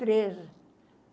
Trejo.